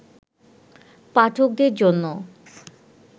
পাঠকদের জন্য